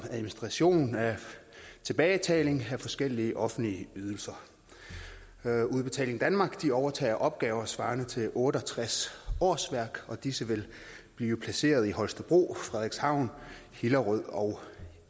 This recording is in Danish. administration af tilbagebetaling af forskellige offentlige ydelser at gøre udbetaling danmark overtager opgaver svarende til otte og tres årsværk og disse vil blive placeret i holstebro frederikshavn hillerød og